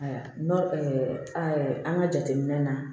Ayiwa nɔn an ka jateminɛ na